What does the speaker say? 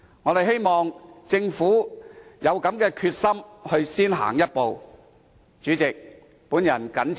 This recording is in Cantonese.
我們希望政府有先行一步的決心。